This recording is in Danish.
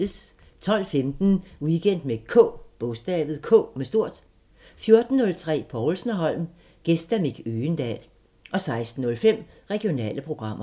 12:15: Weekend med K 14:03: Povlsen & Holm: Gæst Mick Øgendahl 16:05: Regionale programmer